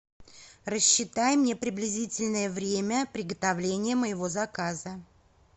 рассчитай мне приблизительное время приготовления моего заказа